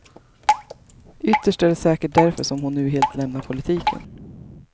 Ytterst är det säkert därför som hon nu helt lämnar politiken.